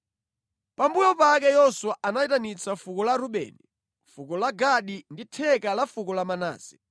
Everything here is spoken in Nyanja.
Pambuyo pake Yoswa anayitanitsa fuko la Rubeni, fuko la Gadi ndi theka la fuko la Manase,